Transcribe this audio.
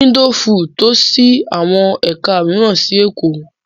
Info food too ṣí àwọn ẹ̀ka mìíràn sí Èkó.